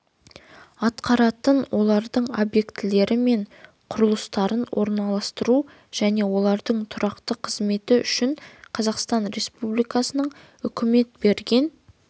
атқаратын олардың объектілері мен құрылыстарын орналастыру және олардың тұрақты қызметі үшін қазақстан республикасының үкімет берген